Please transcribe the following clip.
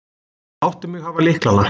Láttu mig hafa lyklana.